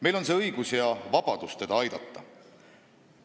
Meil on õigus ja vabadus teda aidata.